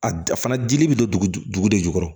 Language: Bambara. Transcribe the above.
A a fana dili bɛ don dugu de jukɔrɔ